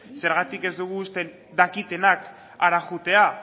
zergatik ez dugu usten dakitenak hara joatea